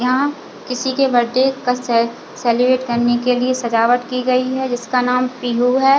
यहाँ किसी के बर्थडे का से सेलिब्रेट करने के लिए सजावट की गई है जिसका नाम पीहू है।